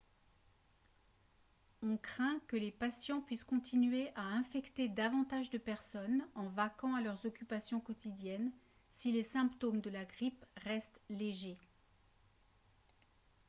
on craint que les patients puissent continuer à infecter davantage de personnes en vaquant à leurs occupations quotidiennes si les symptômes de la grippe restent légers